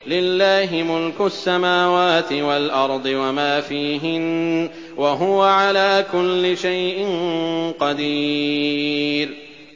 لِلَّهِ مُلْكُ السَّمَاوَاتِ وَالْأَرْضِ وَمَا فِيهِنَّ ۚ وَهُوَ عَلَىٰ كُلِّ شَيْءٍ قَدِيرٌ